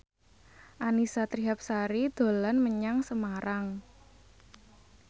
Annisa Trihapsari dolan menyang Semarang